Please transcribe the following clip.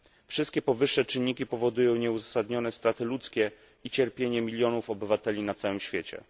Wszystkie powyższe czynniki powodują nieuzasadnione straty ludzkie i cierpienie milionów obywateli na całym świecie.